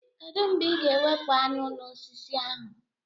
Kedụ mgbe ị ga-ewepụ aṅụ n'osisi ahụ?